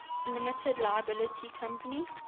limited liability company